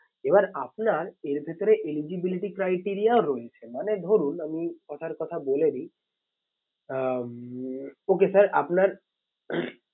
এবার আপনার এর ভেতরে eligibility criteria ও রয়েছে মানে ধরুন আমি কথার কথা বলে দিই আহ উম okay sir আপনার